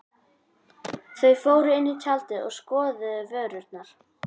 Þau fóru inn í tjaldið og skoðuðu vörurnar.